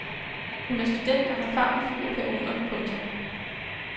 Hun er student og har favnen fuld af pæoner. punktum